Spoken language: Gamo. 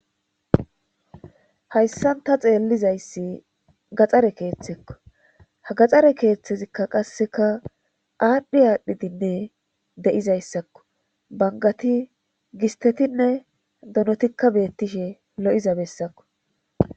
Hayssan ta xeellizayssi gaxxare keeththekko ha gaxxare keeththezikka qasseka aadhdhi aadhdhidinne de7izayssakko bangati gistetinne donotikka beettishe lo7iza bessakko.